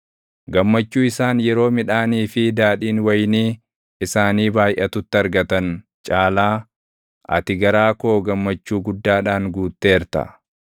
Gammachuu isaan yeroo midhaanii fi daadhiin wayinii isaanii baayʼatutti argatan caalaa, ati garaa koo gammachuu guddaadhaan guutteerta.